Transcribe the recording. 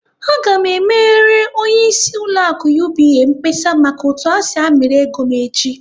Aga m emere onyeisi ụlọ akụ UBA mkpesa maka otu ha si amịrị ego m echi!